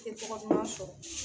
I te tɔgɔ duman sɔrɔ